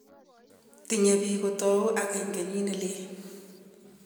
Tinyei biik kotou akeny kenyii nelel.